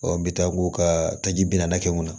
n bɛ taa k'u ka taji bi naani kɛ mun na